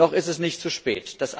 Noch ist es nicht zu spät.